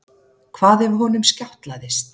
Hvað ef honum skjátlaðist?